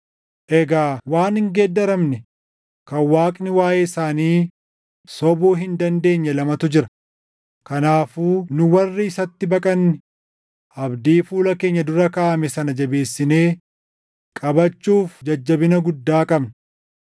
Egaa waan hin geeddaramne kan Waaqni waaʼee isaanii sobuu hin dandeenye lamatu jira; kanaafuu nu warri isatti baqanne abdii fuula keenya dura kaaʼame sana jabeessinee qabachuuf jajjabina guddaa qabna.